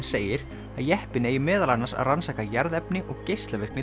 segir að jeppinn eigi meðal annars að rannsaka jarðefni og geislavirkni